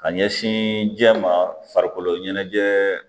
Ka ɲɛsin jɛ ma farikolo ɲɛnajɛ